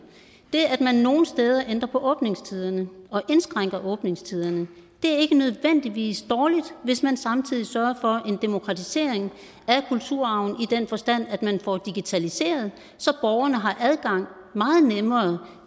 det at man nogle steder ændrer på åbningstiderne og indskrænker åbningstiderne er ikke nødvendigvis dårligt hvis man samtidig sørger for en demokratisering af kulturarven i den forstand at man får digitaliseret så borgerne har meget nemmere